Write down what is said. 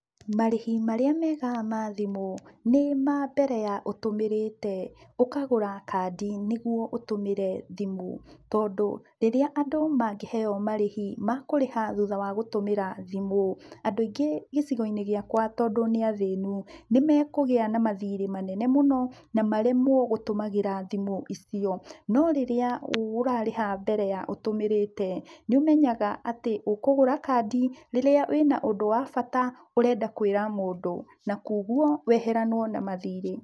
Marĩhi marĩa mega ma thimũ nĩ ma mbere ya ũtũmĩrĩte, ũkagũra kandi, nĩguo ũtũmĩre thimũ, tondũ rĩrĩa andũ mangĩheo marĩhi ma kũrĩha thutha wa gũtũmĩra thimũ, andũ aingĩ gĩcigo-inĩ gĩakwa tondũ nĩathĩnu, nĩmekũgĩa na mathirĩ manene mũno, na maremwo gũtũmagĩra thimũ icio, no rĩrĩa ũrarĩha mbere ya ũtũmĩrũte, nĩũmenyaga atĩ ũkũgũra kandi rĩrĩa wĩna ũndũ wa bata ũrenda kwĩra mũndũ, na kwa ũguo, weheranwo na mathirĩ.